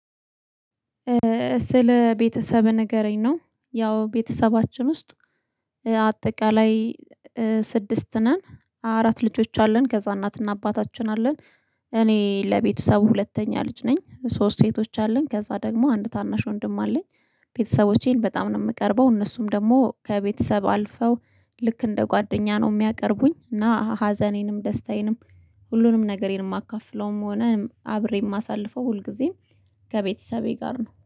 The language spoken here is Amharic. ስለ ቤተሰብ ንገረኝ? ነው ያው ቤተሰባችን ውስጥ አጠቃላይ ስድስት ነን አራት ልጆች አለን ከዛ እናትና አባታችን አሉ። እኔ ለቤተሰብ ሁለተኛ ልጅ ነኝ ሶስት ሴቶች አለኝ ከዛ ደግሞ አንድ ታናሽ ወንድም አለኝ። ቤተሰቦቼን በጣም ነው የምቀርበው እነሱም ደግሞ ከቤተሰብ አልፈው ልክ እንደ ጓደኛ ነው የሚያቀርቡኝ። እና ሀዘኔንም ደስታዬንም ሁሉንም ነገሬም የማካፍለውም ሆነ አብሬ የማሳልፈው ሁልጊዜም ከቤተሰቤ ጋር ነው